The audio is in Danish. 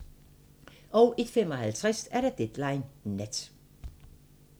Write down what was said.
01:55: Deadline Nat